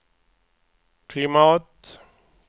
klimat